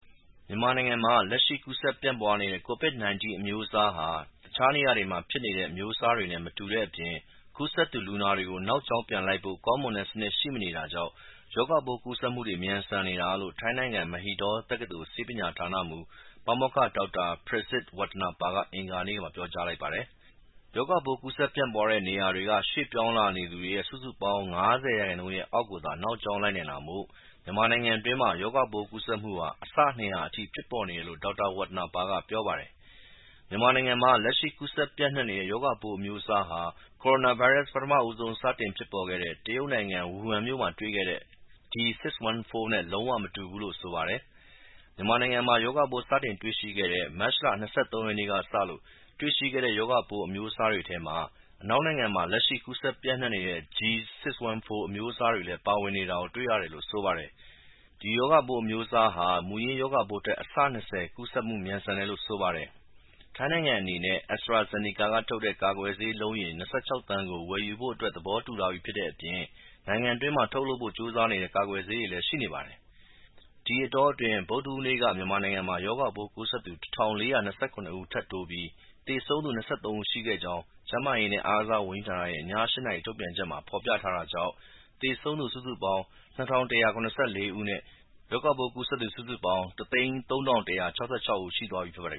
မြန်မာနိုင်ငံမှာ လက်ရှိ ကူးစက် ပြန့်ပွားနေတဲ့ ကိုဗစ်-၁၉ အမျိုးအစားဟာ တခြားနေရာတွေမှာ ဖြစ်နေတဲ့ အမျိုးအစားနဲ့ မတူတဲ့အပြင် ကူးစက်သူ လူနာတွေကို နောက်ကြောင်းပြန်လိုက်ဖို့ ကောင်းမွန်တဲ့စနစ် ရှိမနေတာကြောင့် ရောဂါပိုးကူးစက် မြန်ဆန်နေတာလို့ ထိုင်းနိုင်ငံ၊ Mahidol တက္ကသိုလ် ဆေးပညာဌာနမှူး ပါမောက္ခ ဒေါက်တာ Prasit Watanapa က အင်္ဂါနေ့မှာ ပြောပါတယ်။ ရောဂါပိုး ကူးစက်ပြန့်ပွားနေတဲ့နေရာတွေကနေ ရွှေ့ပြောင်း သွားလာနေသူ စုစုပေါင်းရဲ့ ၅၀% အောက်ကိုသာ နောက်ကြောင်း လိုက်နိုင်တာမို့ မြန်မာနိုင်ငံအတွင်းမှာ ရောဂါပိုးကူးစက်မှုဟာ အဆ ၂၀၀ အထိ ဖြစ်ပေါ်နေတယ်လို့ ဒေါက်တာ Watanapa က ပြောပါတယ်။ မြန်မာနိုင်ငံမှာ လက်ရှိ ကူးစက်ပြန့်နှံ့နေတဲ့ ရောဂါပိုး အမျိုးအစားဟာ ကိုရိုနာဗိုင်းရပ်စ် ပထမဆုံး စတင်ဖြစ်ပေါ်ခဲ့တဲ့ တရုတ်နိုင်ငံ၊ ဝူဟန်မြို့မှာတွေ့ခဲ့တဲ့ D614 နဲ့ လုံး၀ မတူဘူးလို့ ဆိုပါတယ်။ မြန်မာနိုင်ငံမှာ ရောဂါပိုး စတင်တွေ့ရှိတဲ့ မတ်လ ၂၃ ရက်နေ့ကစလို့ တွေ့ရှိခဲ့တဲ့ ရောဂါပိုး အမျိုးအစားတွေထဲမှာ အနောက်နိုင်ငံမှာ လက်ရှိ ကူးစက် ပြန့့်နှံ့နေတဲ့ G614 အမျိုးအစားတွေလည်း ပါဝင်နေတာကို တွေ့ရတယ်လို့ ဆိုပါတယ်။ ဒီ ရောဂါပိုး အမျိုးအစားဟာ မူရင်း ရောဂါပိုးထက် အဆ ၂၀ ကူးစက်မှု မြန်ဆန်တယ်လို့ ဆိုပါတယ်။ ထိုင်းနိုင်ငံအနေနဲ့ AstraZeneca က ထုတ်တဲ့ ကာကွယ်ဆေး အလုံးရေ ၂၆ သန်းကို ဝယ်ဖို့အတွက် သဘောတူထားပြီးဖြစ်တဲ့အပြင် နိုင်ငံတွင်းမှာ ထုတ်ဖို့ကြိုးစားနေတဲ့ ကာကွယ်ဆေးတွေလည်း ရှိနေပါတယ်။ ဒီအတောအတွင်း ဗုဒ္ဓဟူးနေ့က မြန်မာနိုင်ငံမှာ ရောဂါကူးစက်သူ ၁,၄၂၇ ဦး ထပ်တိုးပြီး သေဆုံးသူက ၂၃ ဦး ရှိခဲ့ကြောင်း ကျန်းမာရေးနဲ့ အားကစားဝန်ကြီးဌာနရဲ့ ည ၈ နာရီ ထုတ်ပြန်ချက်မှာ ဖော်ပြထားတာကြောင့် သေဆုံးသူ စုစုပေါင်း ၂,၁၇၄ ဦးနဲ့ ရောဂါပိုး ကူးစက် စုစုပေါင်း ၁၀၃,၁၆၆ ဦး ရှိသွားပါပြီ ဖြစ်ပါတယ်